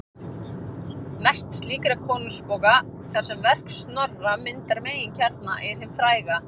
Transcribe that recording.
Mest slíkra konungabóka, þar sem verk Snorra myndar meginkjarna, er hin fræga